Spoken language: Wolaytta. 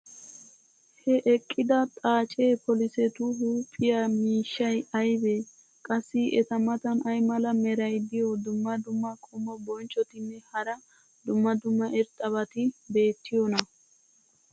ha eqqida xaacee polisetu huuphiya miishshay aybee? qassi eta matan ay mala meray diyo dumma dumma qommo bonccotinne hara dumma dumma irxxabati beetiyoonaa?